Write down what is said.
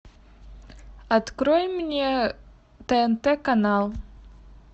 открой мне тнт канал